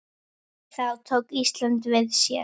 Þá tók Ísland við sér.